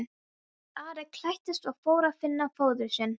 Ari klæddist og fór að finna föður sinn.